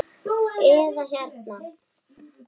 eða hérna